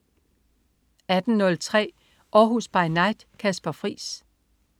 18.03 Århus By Night. Kasper Friis